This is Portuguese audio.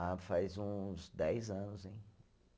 Ah, faz uns dez anos, hein?